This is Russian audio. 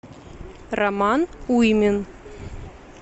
роман уймин